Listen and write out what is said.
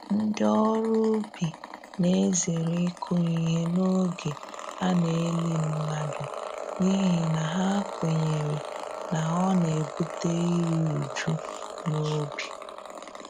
Ndị ọrụ ubi na-ezere ịkụ ihe n’oge a na-eli mmadụ, n’ihi na ha kwenyere na ọ na-ebute iri uju n'ubi.